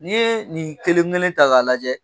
N'i ye nin kelen kelen ta k'a lajɛ